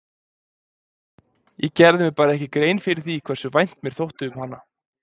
Ég gerði mér bara ekki grein fyrir því hversu vænt mér þótti um hana.